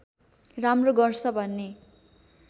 राम्रो गर्छ भन्ने